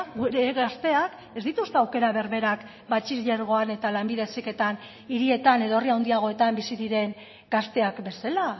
gure gazteak ez dituzte aukera berberak batxilergoan eta lanbide heziketan hirietan edo herri handiagoetan bizi diren gazteak bezala